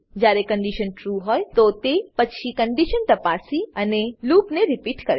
જયારે condition true હોય તો તે પછી કન્ડીશન તપાસી અને લૂપને રીપીટ કરશે